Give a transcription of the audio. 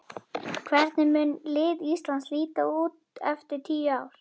Hvernig mun lið Íslands líta út eftir tíu ár?